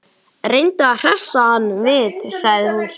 Reyndu að hressa hann við sagði hún svo.